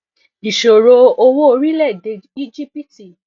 ìṣòro owó orílèèdè íjíbítì